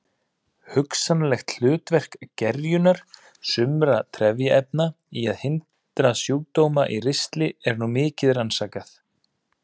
Hugsanlegt hlutverk gerjunar sumra trefjaefna í að hindra sjúkdóma í ristli er nú mikið rannsakað.